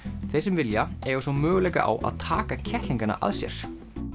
þeir sem vilja eiga svo möguleika á að taka kettlingana að sér